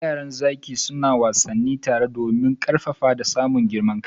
Yaran zaki suna wassani tare domin karfafa da samun girman kai.